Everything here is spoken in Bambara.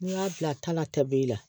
N'i y'a bila ta la tabi la